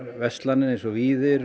verslanir eins og Víðir